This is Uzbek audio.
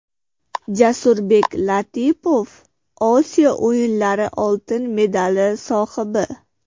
Jasurbek Latipov Osiyo o‘yinlari oltin medali sohibi!.